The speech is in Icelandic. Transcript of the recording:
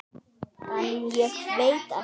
En ég veit ekki.